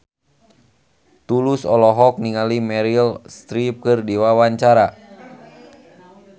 Tulus olohok ningali Meryl Streep keur diwawancara